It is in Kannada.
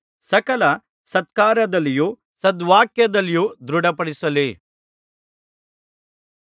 ಸಕಲ ಸತ್ಕಾರ್ಯದಲ್ಲಿಯೂ ಸದ್ವಾಕ್ಯದಲ್ಲಿಯೂ ದೃಢಪಡಿಸಲಿ